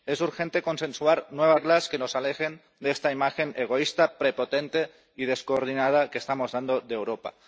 Es urgente consensuar nuevas reglas que nos alejen de esta imagen egoísta, prepotente y descoordinada que estamos dando de Europa.